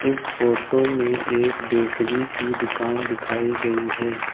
इस फोटो में एक बेकरी की दुकान दिखाई गई है।